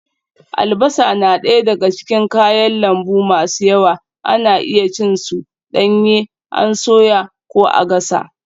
Albasa na daya daga cikin kayan lambu masu yawa, ana iya cin su danye an soya ko a gasa.